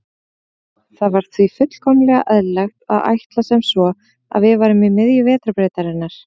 Það var því fullkomlega eðlilegt að ætla sem svo að við værum í miðju Vetrarbrautarinnar.